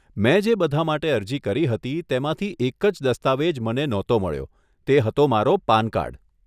મેં જે બધાં માટે અરજી કરી હતી તેમાંથી એક જ દસ્તાવેજ મને નહોતો મળ્યો તે હતો મારો પાન કાર્ડ.